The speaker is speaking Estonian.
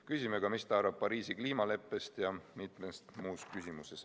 Küsime ka, mis ta arvab Pariisi kliimaleppest ja mitmest muust küsimusest.